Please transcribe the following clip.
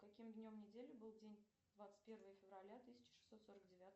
каким днем недели был день двадцать первое февраля тысяча шестьсот сорок девятого